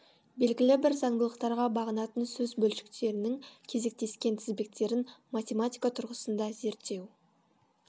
белгілі бір заңдылықтарға бағынатын сөз бөлшектерінің кезектескен тізбектерін математика тұрғысында зерттеу